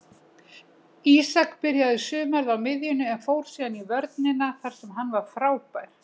Ísak byrjaði sumarið á miðjunni en fór síðan í vörnina þar sem hann var frábær.